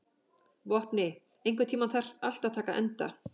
Vopni, einhvern tímann þarf allt að taka enda.